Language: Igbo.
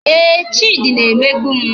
Ee, Chidi na-emegbu m